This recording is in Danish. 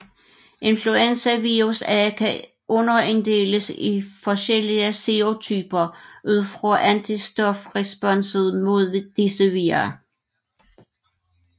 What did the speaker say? Influenza virus A kan underinddeles i forskellige serotyper ud fra antistofresponset mod disse vira